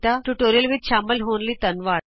ਇਸ ਟਿਯੂਟੋਰਿਅਲ ਵਿਚ ਸ਼ਾਮਲ ਹੋਣ ਲਈ ਧੰਨਵਾਦ